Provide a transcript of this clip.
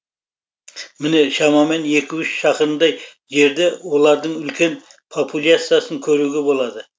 міне шамамен екі үш шақырымдай жерде олардың үлкен популяциясын көруге болады